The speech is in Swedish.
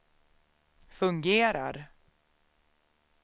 fungerar